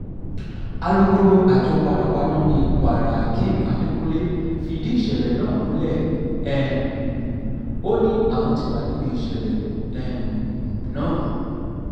alūkkóró àjọ panápaná ni kwarahakeem adekunle fìdí ìṣẹ̀lẹ̀ náà múlẹ̀ um ó ní àwọn ti wà níbi ìṣẹ̀lẹ̀ um náà